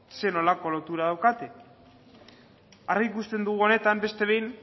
zer nolako lotura daukate argi ikusten dugu honetan beste behin